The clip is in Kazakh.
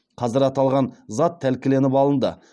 қазір аталған зат тәркіленіп алынды